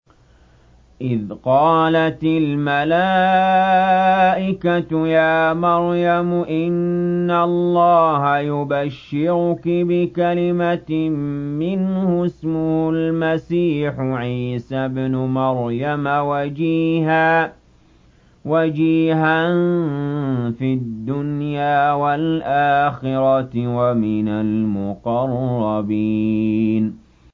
إِذْ قَالَتِ الْمَلَائِكَةُ يَا مَرْيَمُ إِنَّ اللَّهَ يُبَشِّرُكِ بِكَلِمَةٍ مِّنْهُ اسْمُهُ الْمَسِيحُ عِيسَى ابْنُ مَرْيَمَ وَجِيهًا فِي الدُّنْيَا وَالْآخِرَةِ وَمِنَ الْمُقَرَّبِينَ